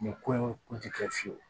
Nin ko in kun ti kɛ fiyewu